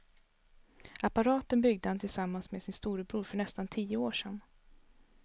Apparaten byggde han tillsammans med sin storebror för nästan tio år sedan.